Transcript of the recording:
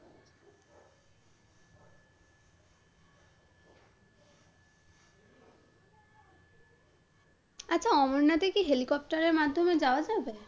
আচ্ছা অমরনাথে কি helicopter এর মাধ্যমে যাওয়া যাবে?